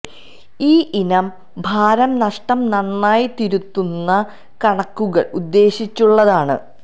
ഈ ഇനം ഭാരം നഷ്ടം നന്നായി തിരുത്തുന്നു കണക്കുകൾ ഉദ്ദേശിച്ചുള്ളതാണ്